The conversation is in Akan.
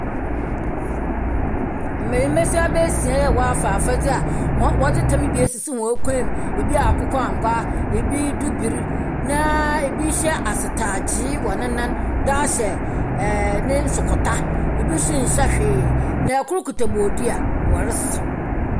Mbanyimbasiaba esia a wɔafa afadze a hɔn wɔdze tam bi esisi hɔn kɔnmu, bi akokɔangoa, bi bibir, bi hyɛ asetaagye wɔ ne nan dze ahyɛ ɛɛɛ no nsokota, bi so nnhyɛ hwee, na kor kitsa bodua, wɔresaw.